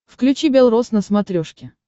включи бел роз на смотрешке